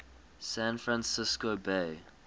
san francisco bay